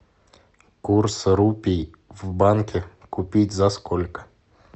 курс рупий в банке купить за сколько